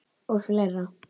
Og fleira.